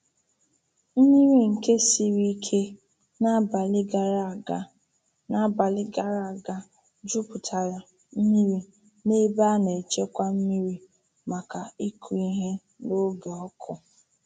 Mmiri nke siri ike n’abali gara aga n’abali gara aga jupụtara mmiri n’ebe a na-echekwa mmiri maka ịkụ ihe n’oge ọkụ.